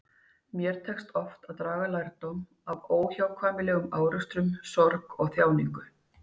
Mér tekst oft að draga lærdóm af óhjákvæmilegum árekstrum, sorg og þjáningu.